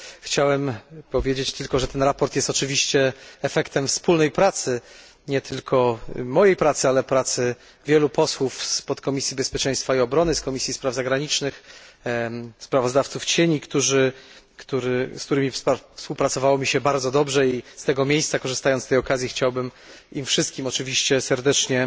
Chciałem powiedzieć tylko, że to sprawozdanie jest oczywiście efektem wspólnej pracy nie tylko mojej pracy, ale pracy wielu posłów z Podkomisji Bezpieczeństwa i Obrony, z Komisji Spraw Zagranicznych, sprawozdawców cieni z którymi współpracowało mi się bardzo dobrze i z tego miejsca, korzystając z tej okazji, chciałbym im wszystkim oczywiście serdecznie